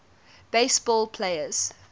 base ball players